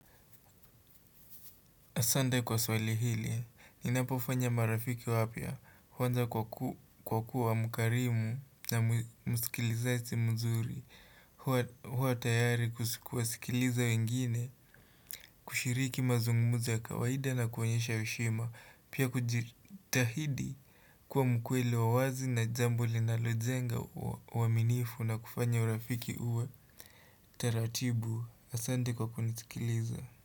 Asante kwa swali hili, ninapofanya marafiki wapya, huanza kwa kuwa mkarimu na msikilizaji mzuri, hua tayari kuwasikiliza wengine, kushiriki mazungumzo ya kawaida na kuonyesha heshima, pia kujitahidi kuwa mkweli wa wazi na jambo linalojenga uaminifu na kufanya urafiki uwe taratibu. Asante kwa kunisikiliza.